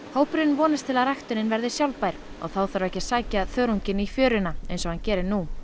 hópurinn vonar að ræktunin verði sjálfbær og þá þarf ekki að sækja þörunginn í fjöruna eins og hann gerir nú